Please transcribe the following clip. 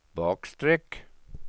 bakstreck